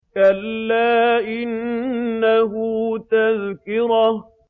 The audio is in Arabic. كَلَّا إِنَّهُ تَذْكِرَةٌ